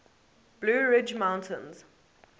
blue ridge mountains